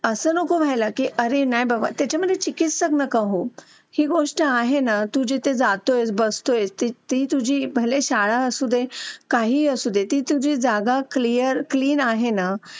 Late होतं सर्दी खोकला हा एक वाढलं आहे. एका मुलाला क्लास पूर्ण क्लास त्याच्यामध्ये वाहून निघत निघत असतो असं म्हणायला हरकत नाही. हो डेंग्यू, मलेरिया यासारखे आजार पण ना म्हणजे लसीकरण आहे. पूर्ण केले तर मला नाही वाटत आहे रोप असू शकतेपुडी लसीकरणाबाबत थोडं पालकांनी लक्ष दिलं पाहिजे की आपला मुलगा या वयात आलेला आहे. आता त्याच्या कोणत्या लसी राहिलेले आहेत का?